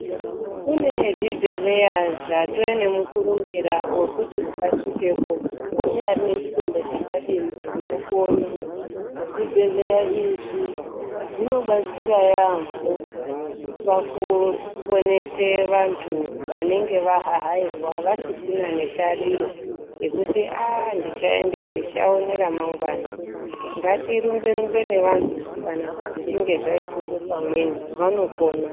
Kune zvibhedhleya zvatove nemukurumbira wekuti ukasvikepo kunyangwe une chitenda chakadini unopona. Zvibhedhleya izvi zvinobatsira yaambho, pakuponesa vantu vanenge vahahairwa, vasisina netariro yekuti aaa ndichaona remangwana. Ngati rumbe -rumbe nevantu kana zvichinge zvaita ngepamweni. Vanopona.